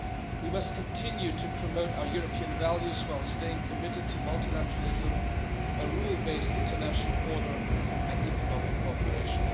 We must continue to promote our European values while staying committed to multilateralism, a rule based international order and economic cooperation.